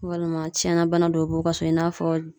Walima tiɲɛni bana dɔw b'u ka so i n'a fɔ